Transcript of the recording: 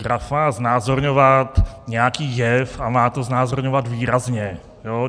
Graf má znázorňovat nějaký jev a má to znázorňovat výrazně.